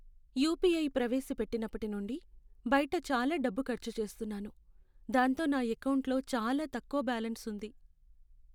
UPI ప్రవేశపెట్టినప్పటి నుండి, బయట చాలా డబ్బు ఖర్చు చేస్తున్నాను, దాంతో నా ఎకౌంటులో చాలా తక్కువ బ్యాలెన్స్ ఉంది.